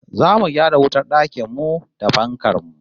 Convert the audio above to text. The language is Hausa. Zamu gyara wutar dakin mu da fankar mu